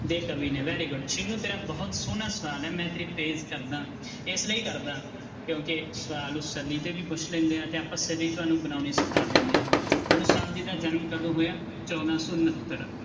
ਦੇ ਕਵੀ ਨੇ very good ਸੀਨੂੰ ਤੇਰਾ ਬਹੁਤ ਸੋਹਣਾ ਸਵਾਲ ਹੈ ਮੈਂ ਕਰਦਾਂ ਇਸ ਲਈ ਕਰਦਾਂ ਕਿਉਂਕਿ ਸਵਾਲ ਨੂੰ ਸਦੀ ਤੇ ਵੀ ਪੁੱਛ ਲੈਂਦੇ ਆ ਤੇ ਆਪਾਂ ਸਦੀ ਤੁਹਾਨੂੰ ਬਣਾਉਣੀ ਸਿਖਾ ਦਿੰਦੇ ਹਾਂ ਗੁਰੂ ਸਾਹਿਬ ਜੀ ਦਾ ਜਨਮ ਕਦੋਂ ਹੋਇਆ ਚੌਦਾਂ ਸੌ ਉਣਤਰ